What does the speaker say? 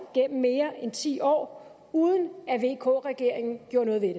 gennem mere end ti år uden at vk regeringen gjorde noget ved